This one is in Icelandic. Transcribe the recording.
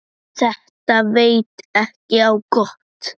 Þetta veit ekki á gott.